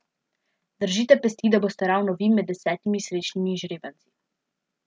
Držite pesti, da boste ravno vi med desetimi srečnimi izžrebanci!